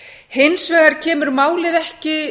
hins vegar kemur málið ekki